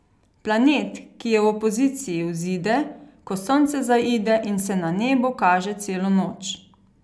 Planet, ki je v opoziciji, vzide, ko Sonce zaide in se na nebu kaže celo noč.